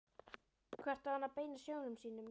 Hvert á hann að beina sjónum sínum?